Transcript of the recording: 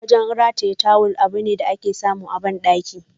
Wajen rataye tawul, abune da ake samu a bandakuna.